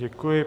Děkuji.